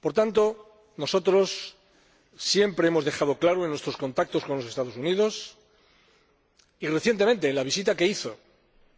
Por tanto, nosotros siempre lo hemos dejado claro en nuestros contactos con los Estados Unidos y, recientemente, en la visita que hizo